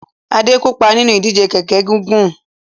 Adé kópa nínú ìdíje kẹ̀ẹ̀kẹ́ gígùn.